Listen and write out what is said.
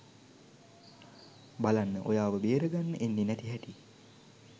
බලන්න ඔයාව බේරගන්න එන්නේ නැති හැටි.